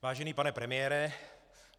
Vážený pane premiére.